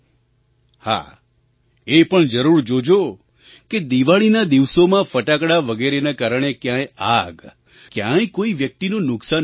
હા એ પણ જરૂર જોજો કે દિવાળીના દિવસોમાં ફટાકડા વગેરેના કારણે ક્યાંય આગ ક્યાંય કોઈ વ્યક્તિનું નુકસાન ન થઈ જાય